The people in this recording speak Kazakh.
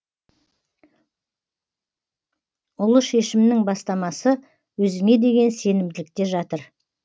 ұлы шешімнің бастамасы өзіңе деген сенімділікте жатыр